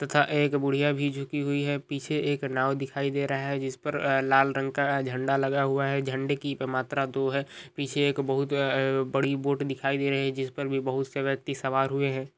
तथा एक बुढ़िया भी झुकी हुई है पीछे एक नाव दिखाई दे रहा है जिसपे अ लाल रंग का अ झंडा लगा हुआ है झंडे की मात्रा दो है पीछे एक बहुत अ बड़ी बोट दिखाई दे रही है जिसपर भी बहुत से वयक्ति सवार हुए है।